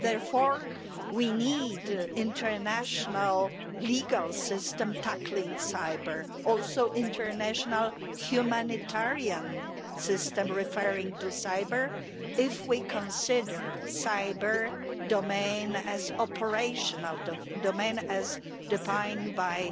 Therefore we need an international legal system tackling cyber' and also an international humanitarian system referring to cyber' if we consider the cyber domain as an operational domain, as defined by